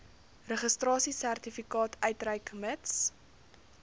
registrasiesertifikaat uitreik mits